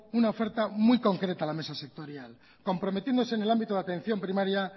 una oferta muy concreta a la mesa sectorial comprometiéndose en el ámbito de atención primaria